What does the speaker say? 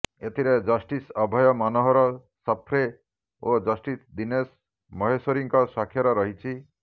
ଏଥିରେ ଜଷ୍ଟିସ ଅଭୟ ମନୋହର ସପ୍ରେ ଓ ଜଷ୍ଟିସ ଦୀନେଶ ମାହେଶ୍ୱରୀଙ୍କ ସ୍ୱାକ୍ଷର ରହିଛି